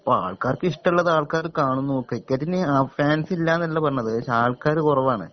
അപ്പാൾക്കാർക്ക് ഇഷ്ടള്ളത്‌ ആൾക്കാര് കാണുന്നു ക്രിക്കറ്റിന് ഫാൻസില്ലാന്നല്ല പറഞ്ഞത് പക്ഷെ ആൾക്കാര് കൊറവാണ്